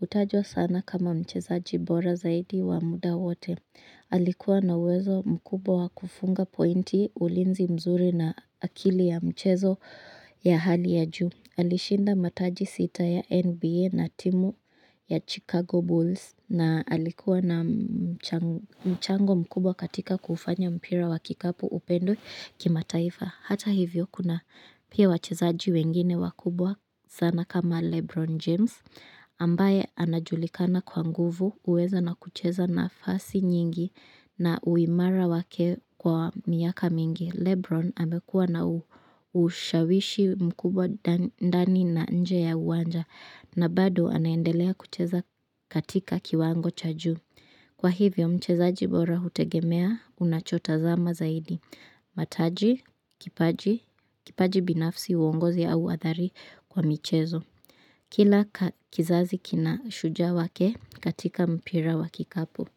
Hutajwa sana kama mchezaji bora zaidi wa muda wote. Alikuwa na uwezo mkubwa wa kufunga pointi, ulinzi mzuri na akili ya mchezo ya hali ya juu. Alishinda mataji sita ya NBA na timu ya Chicago Bulls. Na alikuwa na mchango mkubwa katika kuufanya mpira wa kikapu upendwe kimataifa. Hata hivyo, kuna pia wachezaji wengine wakubwa sana kama Lebron James. Ambaye anajulikana kwa nguvu, huweza na kucheza nafasi nyingi na uimara wake kwa miaka mingi. Lebron amekua na ushawishi mkubwa ndani na nje ya uwanja na bado anaendelea kucheza katika kiwango cha ju. Kwa hivyo mchezaji bora hutegemea unachota zama zaidi. Mataji, kipaji, kipaji binafsi, uongozi au uhodari kwa mchezo. Kila kizazi kina shujaa wake katika mpira wa kikapu.